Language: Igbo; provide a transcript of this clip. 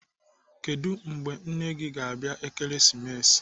Kedụ mgbe nne nne gị ga-abịa Ekeresimesi?